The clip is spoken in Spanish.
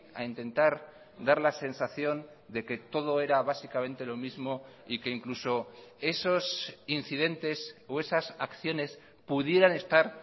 a intentar dar la sensación de que todo era básicamente lo mismo y que incluso esos incidentes o esas acciones pudieran estar